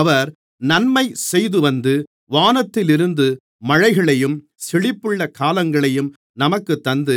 அவர் நன்மை செய்துவந்து வானத்திலிருந்து மழைகளையும் செழிப்புள்ள காலங்களையும் நமக்குத் தந்து